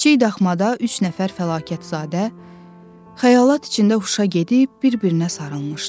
Kiçik daxmada üç nəfər fəlakətzadə xəyalat içində huşa gedib bir-birinə sarılmışdı.